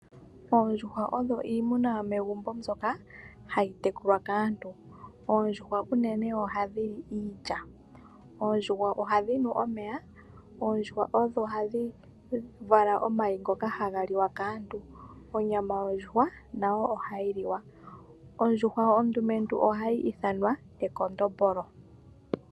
Oondjuhwa odho iimuna yomegumbo mbyoka hayi tekulwa kaantu. Oondjuhwa unene ohadhi li iilya. Oondjuhwa ohadhi nu omeya. Oondjuhwa odho hadhi vala omayi ngoka haga liwa kaantu. Onyama yondjuhwa nayo ohayi liwa. Ondjuhwa ondumentu ohayi ithanwa ekondombolo.